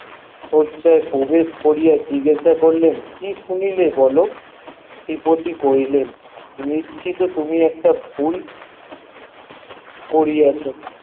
হচ্ছে প্রবেশ করিয়া জিজ্ঞেস করিলেন কি শুনিলে বলো ত্রি পটি কইলেন তুমি একটা ভুল করিয়াছ